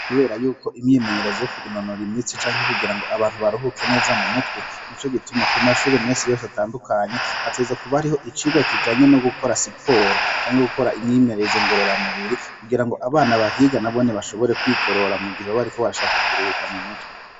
Kubera yuko imyimenyerezo yo kwinonora imitsi kugirango abantu baruhuke neza mumutwe nico gituma kumashure misi yose atandukanye hategerezwa kuba hariho icirwa kijanye nugukora siporo canke gukora imyimenyerezo ngorora mubiri kugirango abana bahiga bashobore kubagorora mugihe bariko bashaka kuruhuka mumutwe